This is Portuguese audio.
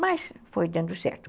Mas foi dando certo.